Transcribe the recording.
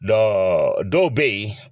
Dɔ dɔw bɛ yen